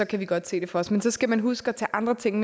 kan vi godt se det for os men så skal man huske at tage andre ting